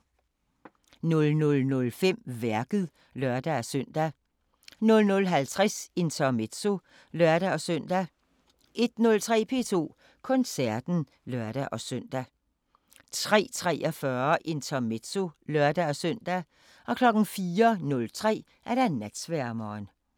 00:05: Værket (lør-søn) 00:50: Intermezzo (lør-søn) 01:03: P2 Koncerten (lør-søn) 03:43: Intermezzo (lør-søn) 04:03: Natsværmeren